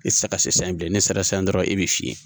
E tɛ se ka se san bilen ne sera san dɔrɔn ne bɛ fiɲɛ